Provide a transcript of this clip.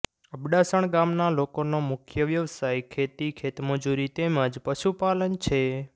અબડાસણ ગામના લોકોનો મુખ્ય વ્યવસાય ખેતી ખેતમજૂરી તેમ જ પશુપાલન છે